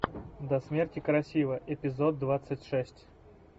до смерти красива эпизод двадцать шесть